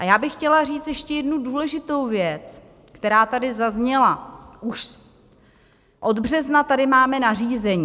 A já bych chtěla říct ještě jednu důležitou věc, která tady zazněla: už od března tady máme nařízení.